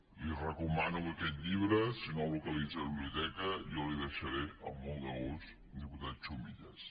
li recomano aquest llibre si no el localitza a la biblioteca jo l’hi deixaré amb molt de gust diputat chumillas